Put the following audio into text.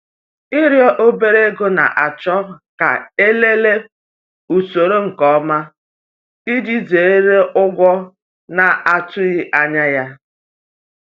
Ịrịọ obere ego na-achọ ka e lelee usoro nke ọma iji zere ụgwọ na-atụghị anya ya.